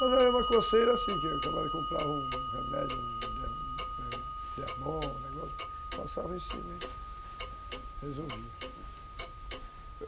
Mas era uma coceira assim, que a camada comprava um remédio, um Dermol, um negócio, passava em cima e resolvia.